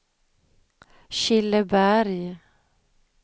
Killeberg